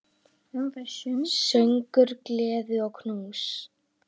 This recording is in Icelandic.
Söngur, gleði og knús.